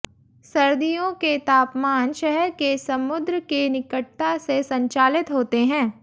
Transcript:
सर्दियों के तापमान शहर के समुद्र के निकटता से संचालित होते हैं